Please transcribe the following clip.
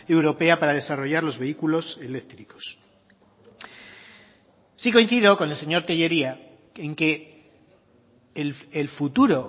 europea para desarrollar los vehículos eléctricos sí coincido con el señor tellería en que el futuro